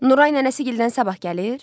Nuray nənəsi gildən sabah gəlir?